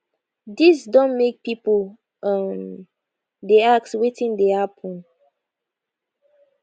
dis don make pipo um dey ask wetin dey happen